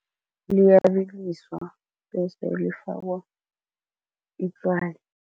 Liyabiliswa bese lifakwa itswayi.